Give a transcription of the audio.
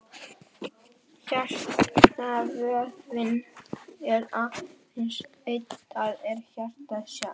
Hjartavöðvinn er aðeins einn, það er hjartað sjálft.